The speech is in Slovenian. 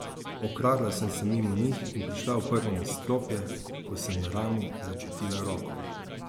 Odkradla sem se mimo njih in prišla v prvo nadstropje, ko sem na rami začutila roko.